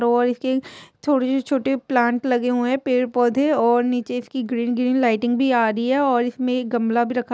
और इसके थोड़ी सी छोटे प्लांट लगे हुए है पेड़ पौधे और नीचे इसकी ग्रीन ग्रीन लाइटिंग भी आ रही है और इसमें गमला भी रखा --